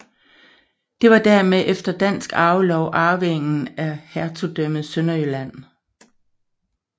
De var dermed efter dansk arvelov arvinger af hertugdømmet Sønderjylland